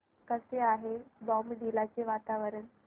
कसे आहे बॉमडिला चे वातावरण